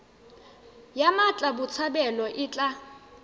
ya mmatla botshabelo e tla